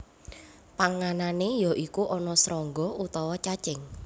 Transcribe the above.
Panganané ya iku ana srangga utawa cacing